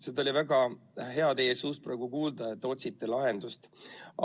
Seda oli väga hea teie suust praegu kuulda, et te otsite lahendust.